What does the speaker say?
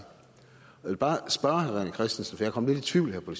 vil bare spørge herre rené christensen for jeg kom lidt i tvivl her på